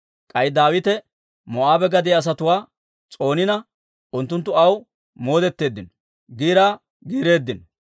K'ay Daawite Moo'aabe gadiyaa asatuwaa s'oonina, unttunttu aw moodetteeddino; giiraa giireeddino.